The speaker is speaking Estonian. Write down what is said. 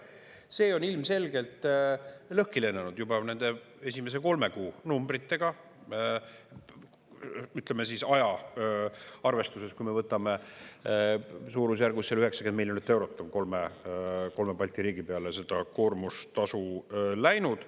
See on ilmselgelt lõhki lennanud juba nende esimese kolme kuu numbritega, ütleme, aja arvestuses, kui me võtame suurusjärgus 90 miljonit eurot on kolme Balti riigi peale seda koormustasu läinud.